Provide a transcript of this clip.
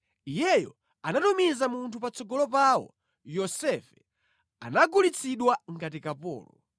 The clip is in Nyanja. Iyeyo anatumiza munthu patsogolo pawo, Yosefe anagulitsidwa ngati kapolo.